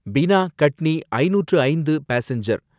பினா கட்னி ஐந்நூற்று ஐந்து பாசெஞ்சர்